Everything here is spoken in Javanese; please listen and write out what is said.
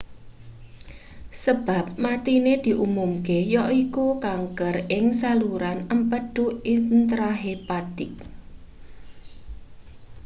sebab matine diumumke yaiku kanker ing saluran empedu intrahepatik